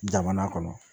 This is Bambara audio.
Jamana kɔnɔ